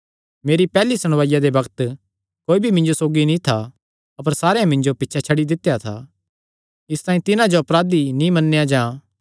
मेरी पैहल्ली सुणवाईया दे बग्त कोई भी मिन्जो सौगी नीं था अपर सारेयां मिन्जो छड्डी दित्या था इसतांई तिन्हां जो अपराधी नीं मन्नेया जां